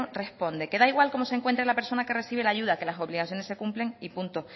responde que da igual cómo se encuentre la persona que recibe la ayuda que las obligaciones se cumplen y punto